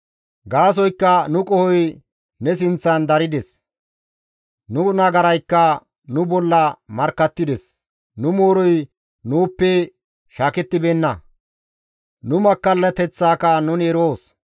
Gaasoykka nu qohoy ne sinththan darides; nu nagaraykka nu bolla markkattides. Nu mooroy nuuppe shaakettibeenna; nu makkallateththaaka nuni eroos.